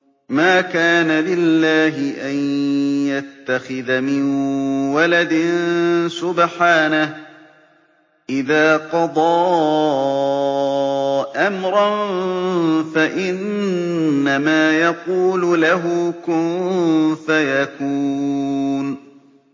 مَا كَانَ لِلَّهِ أَن يَتَّخِذَ مِن وَلَدٍ ۖ سُبْحَانَهُ ۚ إِذَا قَضَىٰ أَمْرًا فَإِنَّمَا يَقُولُ لَهُ كُن فَيَكُونُ